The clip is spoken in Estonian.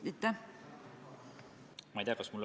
Aitäh, hea juhataja!